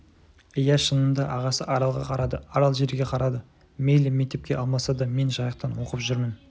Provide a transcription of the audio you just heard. иә шынында ағасы аралға қарады арал жерге қарады мейлі мектепке алмаса да мен жайықтан оқып жүрмін